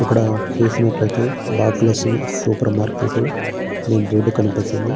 ఇక్కడ చూసినట్లయితే Bhagyalakshmi supermarket అని బోర్డు కనిపిస్తుంది.